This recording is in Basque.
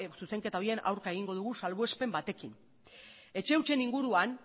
zuzenketa horien aurka egingo dugu salbuespen batekin etxe hutsen inguruan